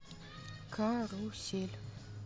карусель